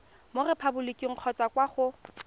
mo repaboliking kgotsa kwa go